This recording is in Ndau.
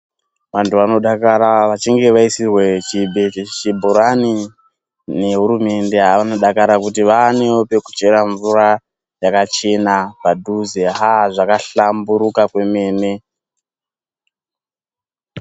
Antu anodakara achinge vaisirwa chibhorani nehurumende. Anodakara kuti vaanewo pekuchera mvura yakachena padhuze aa zvakahlamburuka kwemene.